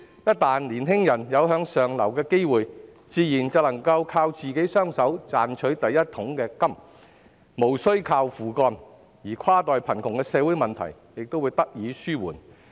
一旦年輕人有向上流的機會，自然能夠靠自己雙手賺取第一桶金，無須靠父幹，而跨代貧窮的社會問題亦得以紓緩。